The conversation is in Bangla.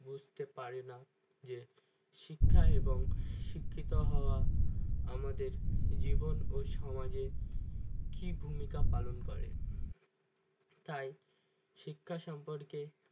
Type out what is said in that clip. বুঝতে পারে না যে শিক্ষা এবং শিক্ষিত হওয়া আমাদের জীবন ও সমাজের কি ভূমিকা পালন করে তাই শিক্ষা সম্পর্কে